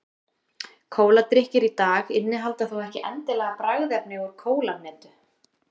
kóladrykkir í dag innihalda þó ekki endilega bragðefni úr kólahnetu